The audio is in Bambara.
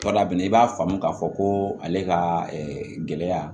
A bɛ na i b'a faamu k'a fɔ ko ale ka gɛlɛya